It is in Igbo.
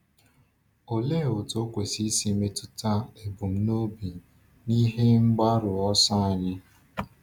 Olee otú okwukwe si metụta ebumnobi na ihe mgbaru ọsọ anyị?